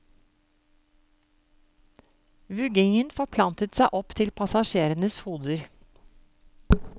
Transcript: Vuggingen forplantet seg opp til passasjerenes hoder.